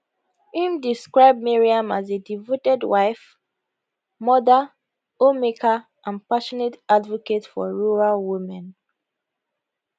im describe maryam as a devoted wife mother homemaker and passionate advocate for rural women